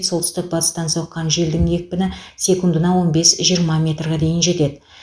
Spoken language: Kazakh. солтүстік батыстан соққан желдің екпіні секундына он бес жиырма метрға дейін жетеді